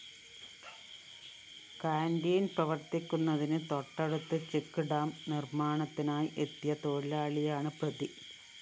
canteen പ്രവര്‍ത്തിക്കുന്നതിന് തൊട്ടടുത്ത് check dam നിര്‍മ്മാണത്തിനായി എത്തിയ തൊഴിലാളിയാണ് പ്രതി